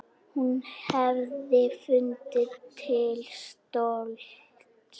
Hún hefði fundið til stolts.